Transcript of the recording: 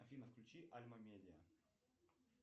афина включи альма медиа